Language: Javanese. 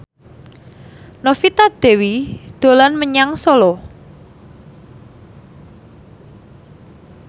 Novita Dewi dolan menyang Solo